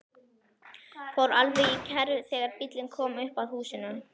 Fór alveg í kerfi þegar bíllinn kom upp að húsinu.